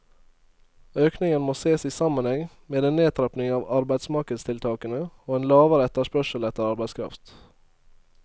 Økningen må ses i sammenheng med en nedtrapping av arbeidsmarkedstiltakene og en lavere etterspørsel etter arbeidskraft.